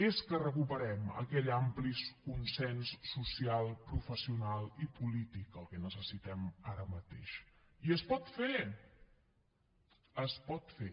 és que recuperem aquell ampli consens social professional i polític el que necessitem ara mateix i es pot fer es pot fer